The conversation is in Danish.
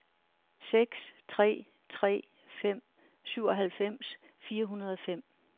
seks tre tre fem syvoghalvfems fire hundrede og fem